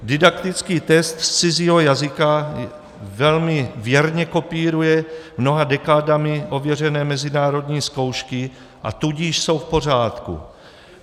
Didaktický test z cizího jazyka velmi věrně kopíruje mnoha dekádami ověřené mezinárodní zkoušky, a tudíž jsou v pořádku.